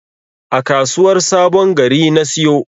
A kasuwar sabon Gari na siyo.